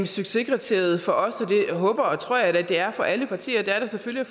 succeskriteriet for os og det håber og tror jeg da det er for alle partier selvfølgelig